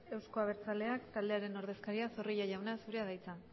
euzko abertzaleak taldearen ordezkaria zorrilla jauna zurea da hitza